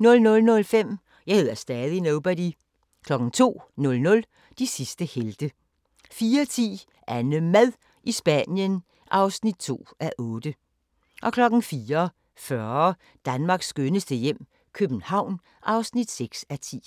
00:05: Jeg hedder stadig Nobody 02:00: De sidste helte 04:10: AnneMad i Spanien (2:8) 04:40: Danmarks skønneste hjem - København (6:10)